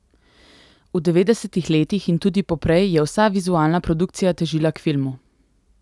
V devetdesetih letih in tudi poprej je vsa vizualna produkcija težila k filmu.